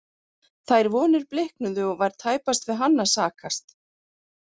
Þær vonir bliknuðu og var tæpast við hann að sakast.